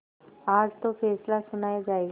आज तो फैसला सुनाया जायगा